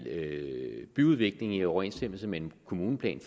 byudvikling i overensstemmelse med en kommuneplan